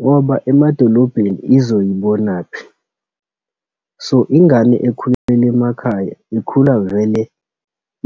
ngoba emadolobheni izoyibonaphi. So, ingane ekhulele emakhaya, ikhula vele